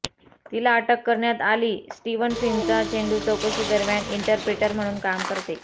तिला अटक करण्यात आली स्टिवन फिनचा चेंडू चौकशी दरम्यान इंटरप्रिटर म्हणून काम करते